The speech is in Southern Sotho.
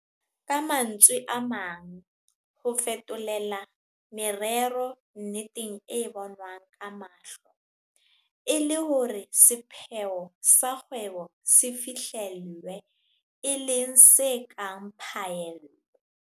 Ka mantswe a mang, ho fetolela merero nneteng e bonwang ka mahlo, e le hore sepheo sa kgwebo se fihlellwe, e leng se kang phaello.